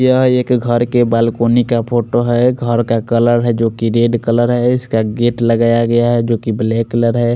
यहाँ एक घर के बालकनी का फोटो है घर का कलर है जो की रेड कलर है इसका गेट लगाया गया है जो की ब्लैक कलर है।